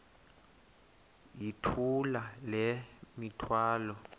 yithula le mithwalo